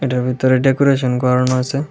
এটার ভেতরে ডেকোরেশন করানো আছে।